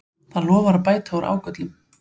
Það lofar að bæta úr ágöllum